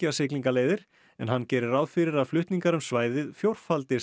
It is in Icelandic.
siglingaleiðir en hann gerir ráð fyrir að flutningar um svæðið